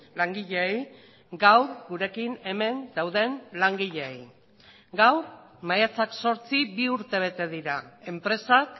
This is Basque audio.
langileei gaur gurekin hemen dauden langileei gaur maiatzak zortzi bi urte bete dira enpresak